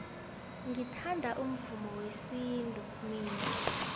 ngithanda umvumo wesintu mina